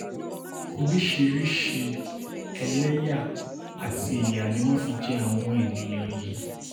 oríṣiríṣiì eléyà àti ìyà ni wọ́n fi jẹ àwọn èèyàn yìí